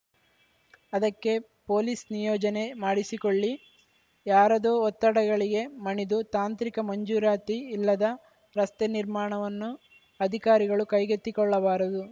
ಅದಕ್ಕೆ ಪೊಲೀಸ್‌ ನಿಯೋಜನೆ ಮಾಡಿಸಿಕೊಳ್ಳಿ ಯಾರದೋ ಒತ್ತಡಗಳಿಗೆ ಮಣಿದು ತಾಂತ್ರಿಕ ಮಂಜೂರಾತಿ ಇಲ್ಲದ ರಸ್ತೆ ನಿರ್ಮಾಣವನ್ನು ಅಧಿಕಾರಿಗಳು ಕೈಗೆತ್ತಿಕೊಳ್ಳಬಾರದು